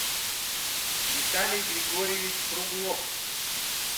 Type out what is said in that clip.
виталий григорьевич круглов